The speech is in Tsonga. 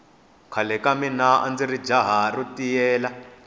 khale ka mina andziri jaha ntiyela